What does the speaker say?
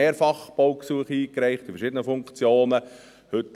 Ich habe schon mehrfach in verschiedenen Funktionen Baugesuche eingereicht.